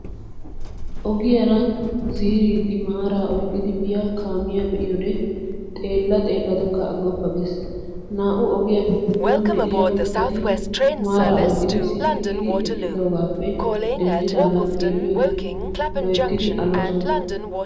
Ogiyaara ziiridi maaraa oyqqidi biyaa kaamiyaa be'iyode xeellaa xeelladakka aggoppa gees. Naa"u ogiyaappe giduwaan de'iyaa mittati maara oyqqidi sitti giidi eqqidoogaappe denddidaagan xeelliyoode loyttidi aloosona.